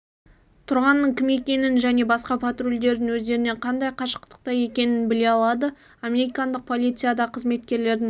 тұрғанның кім екенін және басқа патрульдердің өздерінен қандай қашықтықта екенін біле алады американдық полицияда қызметкерлердің